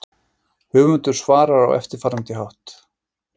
Höfundur svarar á eftirfarandi hátt